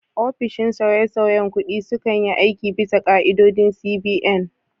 Ofishin sauyesauyen kuɗi sukan yi aiki bisa ka'idodin CBN.